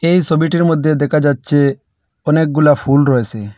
এই সবিটির মধ্যে দেখা যাচ্ছে অনেকগুলা ফুল রয়েসে।